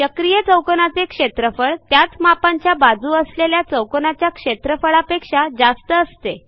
चक्रीय चौकोनाचे क्षेत्रफळ त्याच मापांच्या बाजू असलेल्या चौकोनाच्या क्षेत्रफळापेक्षा जास्त असते